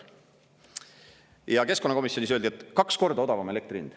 Ja keskkonnakomisjonis öeldi, et kaks korda odavam elektri hind.